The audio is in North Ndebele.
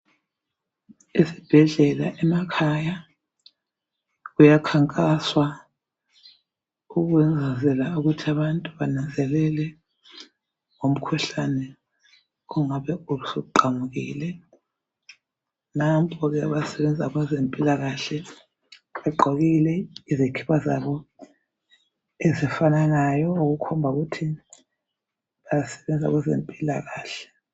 Ezibhedlela emakhaya kuya khankaswa ukuzela ukuthi abantu bananzele ngo mkhuhlane ongabe usuqamukile. Nampo ke abasebenza kweze mpilakahle. Bagqokile izikipa zabo, ezifananayo okukhomba ukuthi basebenza kweze mpilakahle.